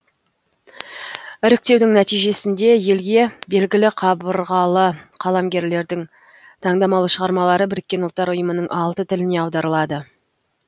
іріктеудің нәтижесінде елге белгілі қабырғалы қаламгерлердің таңдамалы шығармалары біріккен ұлттар ұйымының алты тіліне аударылады